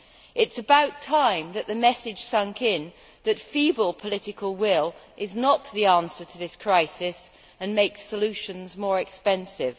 It is about time that the message sank in that feeble political will is not the answer to this crisis and makes solutions more expensive.